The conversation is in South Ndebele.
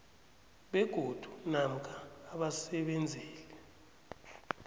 begodu namkha abasebenzeli